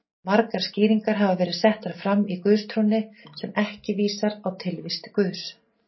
Margar skýringar hafa verið settar fram á guðstrúnni sem ekki vísa á tilvist Guðs.